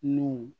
N'u